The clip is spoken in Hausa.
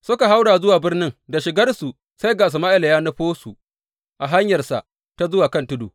Suka haura zuwa birnin, da shigarsu sai ga Sama’ila ya nufo su a hanyarsa ta zuwa kan tudu.